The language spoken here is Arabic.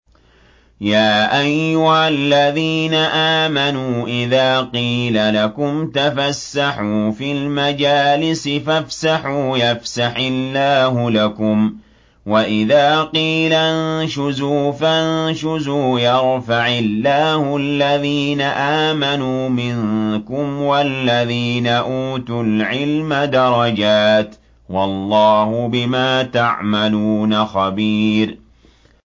يَا أَيُّهَا الَّذِينَ آمَنُوا إِذَا قِيلَ لَكُمْ تَفَسَّحُوا فِي الْمَجَالِسِ فَافْسَحُوا يَفْسَحِ اللَّهُ لَكُمْ ۖ وَإِذَا قِيلَ انشُزُوا فَانشُزُوا يَرْفَعِ اللَّهُ الَّذِينَ آمَنُوا مِنكُمْ وَالَّذِينَ أُوتُوا الْعِلْمَ دَرَجَاتٍ ۚ وَاللَّهُ بِمَا تَعْمَلُونَ خَبِيرٌ